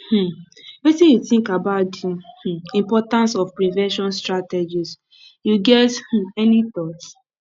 um wetin you think about di um importance of prevention strategies you get um any thought